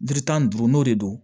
Jiri tan ni duuru n'o de don